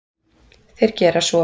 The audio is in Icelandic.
Þeir gera svo.